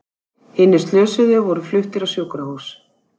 Hinir slösuðu voru fluttir á sjúkrahús